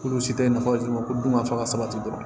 K'olu si tɛ nafa d'u ma ko dun ka fa ka sabati dɔrɔn